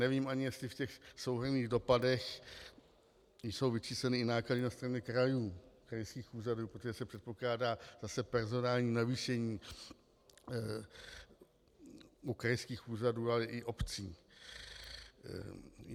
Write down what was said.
Nevím ani, jestli v těch souhrnných dopadech jsou vyčísleny i náklady na straně krajů, krajských úřadů, protože se předpokládá zase personální navýšení u krajských úřadů, ale i obcí.